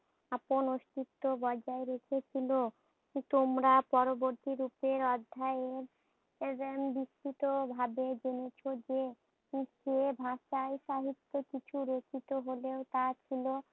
আপন অস্তিত্ব বজায় রেখে ছিল। তোমরা পরবর্তী রূপের অধ্যায়ে পেজেন বিক্ষিত ভাবে জেনেছ যে সে ভাষাই সাহিত্য কিছু রেখিত হলেও তা ছিল